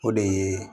O de ye